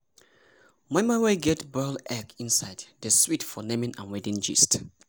moi moi wey get boiled egg inside dey sweet for naming and wedding gist.